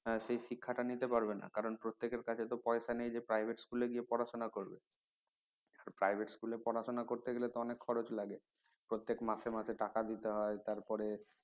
সেই শিক্ষা টা নিতে পারবে না কারন প্রত্যেকের কাছে তো পয়সা নেই যে private school গিয়ে পড়াশুনা করবে private school এ পড়াশুনা করতে গেলে তো অনেক খরচ লাগে প্রত্যেক মাসে মাসে টাকা দিতে হয় তারপরে